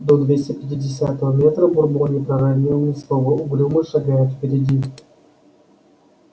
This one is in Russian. до двести пятидесятого метра бурбон не проронил ни слова угрюмо шагая впереди